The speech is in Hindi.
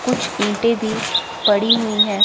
कुछ ईंटे भी पड़ी हुई है।